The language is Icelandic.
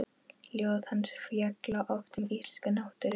Ljóð hans fjalla oft um íslenska náttúru.